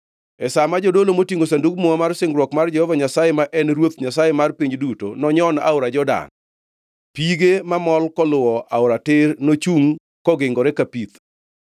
E sa ma jodolo motingʼo Sandug Muma mar singruok mar Jehova Nyasaye ma en Ruoth Nyasaye mar piny duto, nonyon aora Jordan, pige-ge mamol koluwo aora tir nochungʼ kogingore ka pith.”